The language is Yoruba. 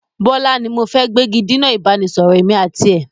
Bọlá ni mo fẹ́ gbégidinà ìbánisọọ̀rọ̀ èmi àti ẹ̀